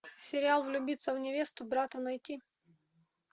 сериал влюбиться в невесту брата найти